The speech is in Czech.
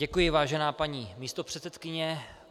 Děkuji, vážená paní místopředsedkyně.